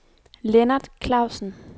Lennart Klausen